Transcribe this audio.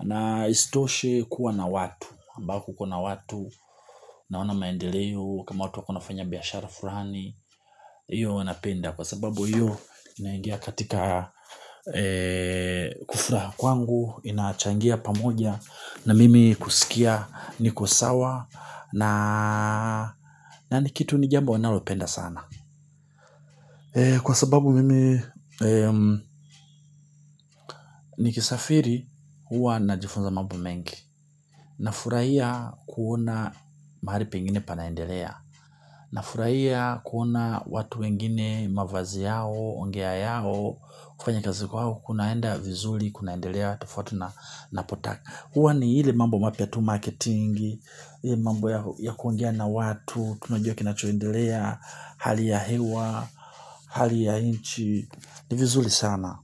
Na isitoshe kuwa na watu, ambao kukona watu, naona maendeleo, kama watu wakona fanya biashara fulani. Iyo huwa napenda, kwa sababu, iyo naingia katika kufurahi kwangu, inachangia pamoja, na mimi kusikia niko sawa, na ni kitu ni jambo nalopenda sana. Kwa sababu mimi ni kisafiri huwa na jifunza mambo mengi. Na furahia kuona mahali pengine panaendelea. Na furahia kuona watu wengine mavazi yao, ongea yao. Kufanya kazi kwao, kunaenda vizuri, kunaendelea tofauti na napotaka uwa ni ile mambo mapya tu marketing. Mambo ya kuongea na watu, tunajuaki na choendelea. Haliya hiwa. Hali ya nchi ni vizuri sana.